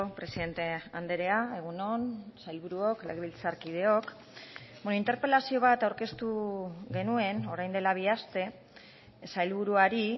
presidente andrea egun on sailburuok legebiltzarkideok interpelazio bat aurkeztu genuen orain dela bi aste sailburuari